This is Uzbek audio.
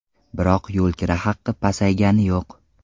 Biroq yo‘lkira haqi pasaygani yo‘q.